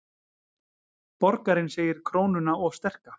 Borgarinn segir krónuna of sterka